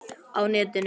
Á netinu